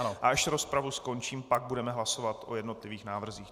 A až rozpravu skončím, pak budeme hlasovat o jednotlivých návrzích.